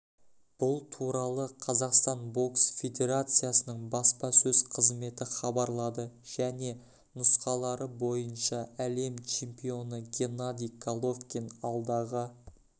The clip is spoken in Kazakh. бұл туралы қазақстан бокс федерециясының баспасөз қызметі хабарлады және нұсқалары бойынша әлем чемпионы геннадий головкин алдағы